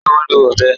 Ṣé o n lọ ọ̀bẹ̀?